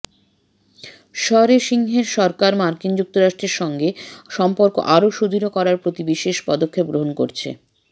সরে সিংের সরকার মার্কিন যুক্তরাষ্ট্রের সঙ্গে সম্পর্ক আরো সুদৃঢ় করার প্রতি বিশেষ পদক্ষেপ গ্রহণ করেছে